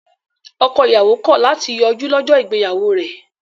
Ọkọ-ìyàwó kọ̀ láti yọjú lọ́jọ́ ìgbéyàwó rẹ̀.